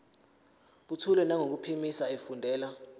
buthule nangokuphimisa efundela